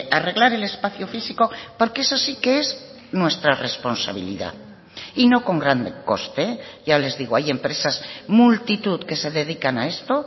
arreglar el espacio físico porque eso sí que es nuestra responsabilidad y no con gran coste ya les digo hay empresas multitud que se dedican a esto